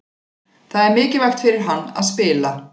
Það er mikilvægt fyrir hann að spila.